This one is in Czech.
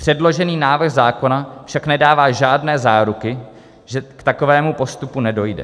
Předložený návrh zákona však nedává žádné záruky, že k takovému postupu nedojde.